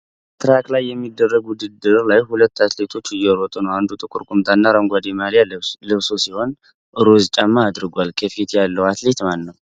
ትራክ ላይ በሚደረግ ውድድር ላይ ሁለት አትሌቶች እየሮጡ ነው። አንዱ ጥቁር ቁምጣና አረንጓዴ ማሊያ ለብሶ ሲሆን፣ ሮዝ ጫማ አድርጓል። ከፊት ያለው አትሌት ማን ነው?